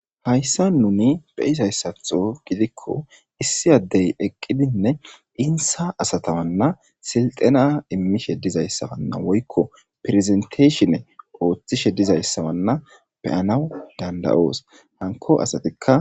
hayssa nuni beyisayssatxo gidikko issi addey eqqidinne insa asatawanna silxena immishe dizayssawanna woykko pirzenteeshine ooththishe dizayssawanna beyanawu dandayoos hanko asatikka